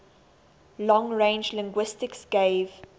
long range linguistics gave